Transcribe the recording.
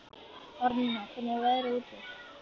Árnína, hvernig er veðrið úti?